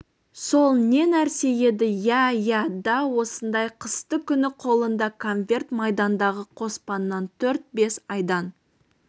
сол не нәрсе еді иә иә да осындай қысты күні қолында конверт майдандағы қоспаннан төрт-бес айдан